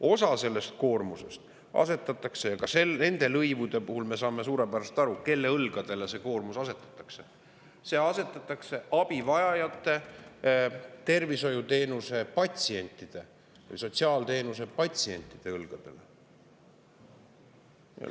Osa sellest koormusest asetatakse – ka nende lõivude puhul me saame suurepäraselt aru, kelle õlgadele see koormus asetatakse – abivajajate, tervishoiuteenuste või sotsiaalteenuste õlgadele.